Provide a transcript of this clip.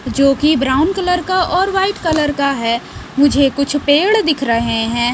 जो कि brown colour और वाइट कलर का है मुझे कुछ पेड़ दिख रहे हैं।